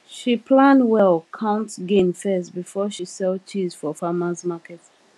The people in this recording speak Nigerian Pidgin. she plan well count gain first before she sell cheese for farmers market